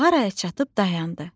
Mağaraya çatıb dayandı.